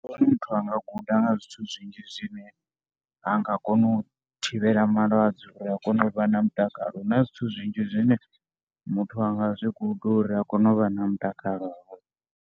Muthu a nga guda nga zwithu zwinzhi zwine a nga kona u thivhela malwadze uri a kone u vha na mutakalo. Hu na zwithu zwinzhi zwine muthu a nga kona u zwi guda uri a kone u vha na mutakalo.